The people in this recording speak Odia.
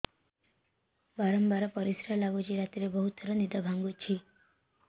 ବାରମ୍ବାର ପରିଶ୍ରା ଲାଗୁଚି ରାତିରେ ବହୁତ ଥର ନିଦ ଭାଙ୍ଗୁଛି